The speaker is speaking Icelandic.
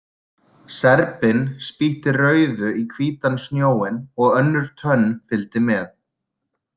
Serbinn spýtti rauðu í hvítan snjóinn og önnur tönn fylgdi með.